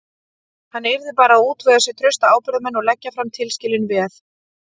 Hann yrði bara að útvega sér trausta ábyrgðarmenn og leggja fram tilskilin veð.